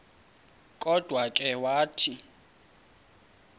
kodwa ke wathi